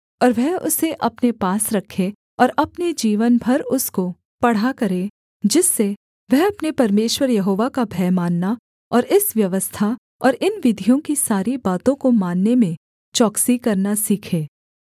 और वह उसे अपने पास रखे और अपने जीवन भर उसको पढ़ा करे जिससे वह अपने परमेश्वर यहोवा का भय मानना और इस व्यवस्था और इन विधियों की सारी बातों को मानने में चौकसी करना सीखे